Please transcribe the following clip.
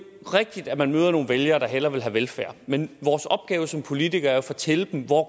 rigtigt at man møder nogle vælgere der hellere vil have velfærd men vores opgave som politikere er at fortælle dem hvor